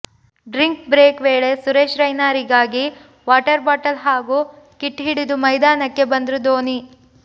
drink break ವೇಳೆ ಸುರೇಶ್ ರೈನಾರಿಗಾಗಿ water bottle ಹಾಗೂ ಕಿಟ್ ಹಿಡಿದು ಮೈದಾನಕ್ಕೆ ಬಂದ್ರು ಧೋನಿ